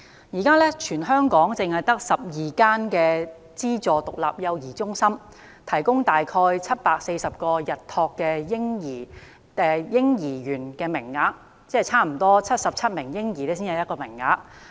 現時全港只有12間資助獨立幼兒中心，提供大概740個日託嬰兒園名類，即差不多每77名嬰兒才有1個名額。